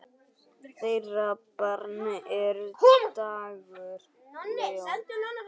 Þeirra barn er Dagur Leó.